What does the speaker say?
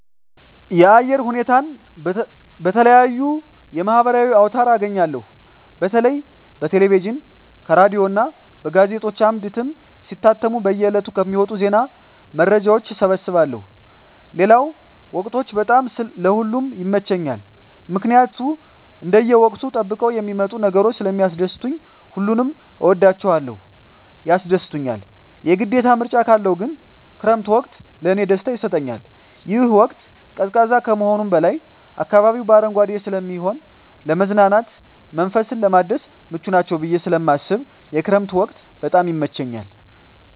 የአየር ሁኔታን በተለየዩ የማህበራዊ አውታር አገኛለሁ በተለይ በቴሌቪዥን ከሬዲዮ እና በጋዜጦች አምድ እትም ሲታተሙ በየ ዕለቱ ከሚወጡ ዜና መረጃዎች እሰበስባለሁ ሌለው ወቅቶች በጣም ለእ ሁሉም ይመቸኛል ምክኒያት እንደየ ወቅቱን ጠብቀው የሚመጡ ነገሮች ስለሚስደስቱኝ ሁሉንም እወዳቸዋለሁ ያስደስቱኛል የግዴታ ምርጫ ካለው ግን ክረምት ወቅት ለእኔ ደስታ ይሰጠኛል ይህ ወቅት ቀዝቃዛ ከመሆኑም በላይ አካባቢው በአረንጓዴ ስለሚሆን ለመዝናናት መንፈስን ለማደስ ምቹ ናቸው ብየ ስለማስብ የክረምት ወቅት በጣም ይመቸኛል።